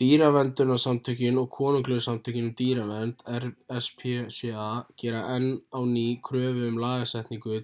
dýraverndunarsamtökin og konunglegu samtökin um dýravernd rspca gera enn á ný kröfu um lagasetningu